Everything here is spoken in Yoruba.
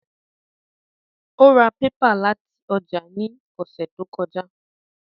Ó ra pépà láti ọjà ní ọ̀sẹ̀ tó kọjá